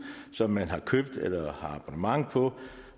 som man har købt eller har abonnement på